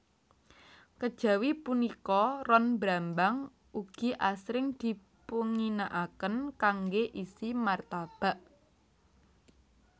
Kejawi punika ron brambang ugi asring dipunginakaken kanggé isi martabak